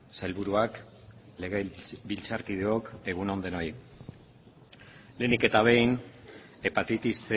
sailburuak legebiltzarkideok egun on denoi lehenik eta behin hepatitis